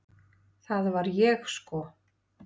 Það var ég sko!